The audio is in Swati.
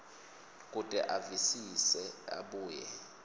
kute avisise abuye